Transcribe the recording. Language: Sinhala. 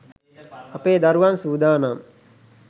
අපේ දරුවන් සූදානම්.